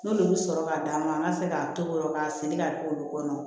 N'olu bɛ sɔrɔ ka d'a ma an ka se k'a to k'a sɛnɛ ka k'olu kɔnɔ